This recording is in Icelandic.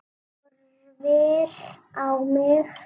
Horfir á mig.